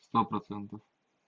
сто процентов